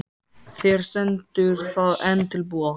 Þér stendur það enn til boða.